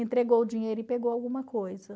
entregou o dinheiro e pegou alguma coisa.